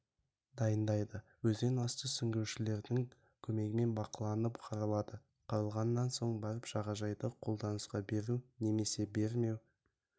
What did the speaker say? дайындайды өзен асты сүңгуіршілердің көмегімен бақыланып қаралады қаралғаннан соң барып жағажайды қолданысқа беру немесе бермеу